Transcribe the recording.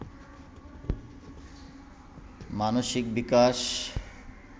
মানসিক বিকাশ